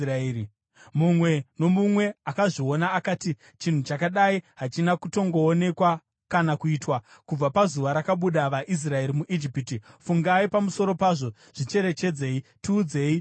Mumwe nomumwe akazviona akati, “Chinhu chakadai hachina kutongoonekwa kana kuitwa, kubva pazuva rakabuda vaIsraeri muIjipiti. Fungai pamusoro pazvo! Zvicherechedzei! Tiudzei zvokuita!”